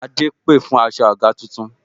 Adé pè fún aṣọ àga tuntun